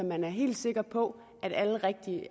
man er helt sikker på